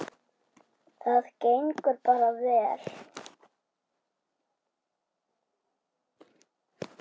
Það gengur bara vel.